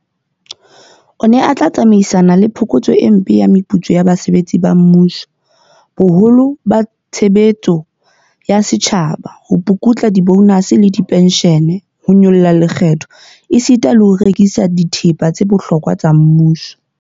O ne o tla tsamaisana le phokotso e mpe ya meputso ya basebetsi ba mmuso, boholo ba tshebe letso ya setjhaba, ho pukutla dibonase le dipenshene, ho nyolla lekgetho esita le ho rekisa dithepa tsa bohlokwa tsa mmuso.